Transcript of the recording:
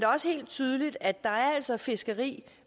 også helt tydeligt at der altså er fiskeri